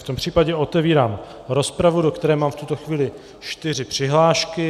V tom případě otevírám rozpravu, do které mám v tuto chvíli čtyři přihlášky.